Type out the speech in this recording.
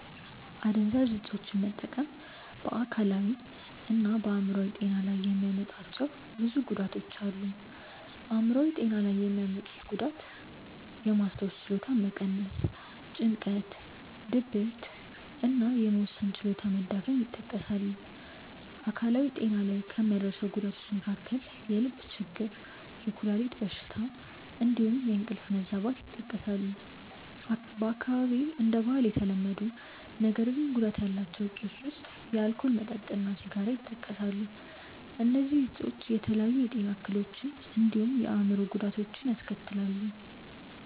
አደንዛዥ እፆችን መጠቀም በ አካላዊ እና በ አይምሮአዊ ጤና ላይ የሚያመጣቸው ጉዳቶች ብዙ ናቸው። አይምሯዊ ጤና ላይ የሚያመጡት ጉዳት ውስጥየማስታወስ ችሎታን መቀነስ፣ ጭንቀት፣ ድብርት እና የመወሰን ችሎታ መዳከም ይጠቀሳሉ። አካላዊ ጤና ላይ ከሚያደርሰው ጉዳቶች መካከል የልብ ችግር፣ የኩላሊት በሽታ እንዲሁም የእንቅልፍ መዛባት ይጠቀሳሉ። በአካባቢዬ እንደ ባህል የተለመዱ ነገር ግን ጉዳት ያላቸው እፆች ውስጥ የአልኮል መጠጥ እና ሲጋራ ይጠቀሳሉ። እነዚህ እፆች የተለያዩ የጤና እክሎችን እንዲሁም የአእምሮ ጉዳቶችን ያስከትላሉ።